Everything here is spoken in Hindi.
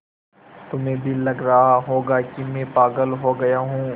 तुम्हें भी लग रहा होगा कि मैं पागल हो गया हूँ